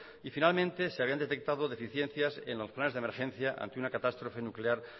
y finalmente se habían detectado deficiencias en los planes de emergencia ante una catástrofe nuclear